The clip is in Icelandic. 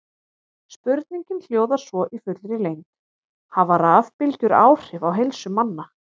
Spurningin hljóðar svo í fullri lengd: Hafa rafbylgjur áhrif á heilsu manna?